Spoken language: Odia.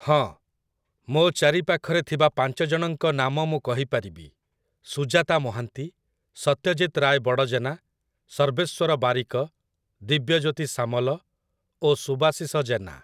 ହଁ, ମୋ ଚାରିପାଖରେ ଥିବା ପାଞ୍ଚ ଜଣଙ୍କ ନାମ ମୁଁ କହିପାରିବି - ସୁଜାତା ମହାନ୍ତି, ସତ୍ୟଜିତ ରାଏ ବଡ଼ଜେନା, ସର୍ବେଶ୍ଵର ବାରିକ, ଦିବ୍ୟଜୋତି ସାମଲ ଓ ସୁବାଶିଷ ଜେନା ।